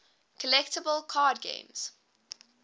collectible card games